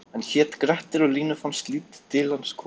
Hann hét Grettir og Línu fannst lítið til hans koma: